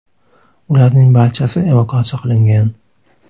Ularning barchasi evakuatsiya qilingan.